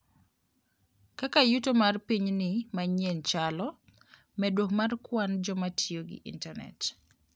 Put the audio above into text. Kaka Yuto mar Pinyni Manyien Chalo: Medruok mar kwan joma tiyo gi Intanet.